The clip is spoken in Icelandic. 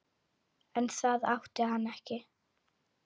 En það átti hann ekki.